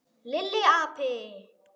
Lilli api!